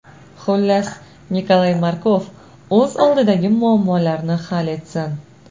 Xullas, Nikolay Markov o‘z oldidagi muammolarni hal etsin.